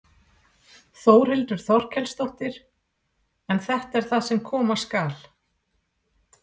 Þórhildur Þorkelsdóttir: En þetta er það sem koma skal?